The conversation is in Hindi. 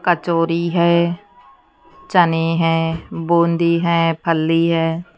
कचोरी है चने हैं बूँदी हैं फली है।